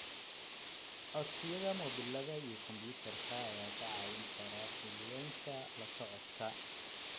Codsiyada mobilada iyo kumbuyuutarka ayaa kaa caawin kara fududaynta la socodka.